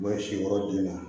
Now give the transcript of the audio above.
U bɛ sin wɛrɛ di ma